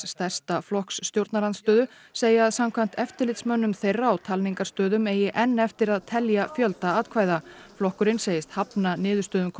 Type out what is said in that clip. stærsta flokks stjórnarandstöðu segja að samkvæmt eftirlitsmönnum þeirra á talningarstöðum eigi enn eftir að telja fjölda atkvæða flokkurinn segist hafna niðurstöðunum